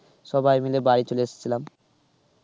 সবাই মিলে বাড়ি চলে এসছিলাম.